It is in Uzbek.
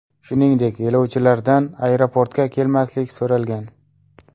Shuningdek, yo‘lovchilardan aeroportga kelmaslik so‘ralgan.